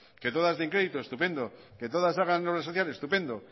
que todas den crédito estupendo que todas hagan obras sociales estupendo